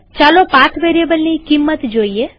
ચાલો પાથ વેરીએબલની કિંમત જોઈએ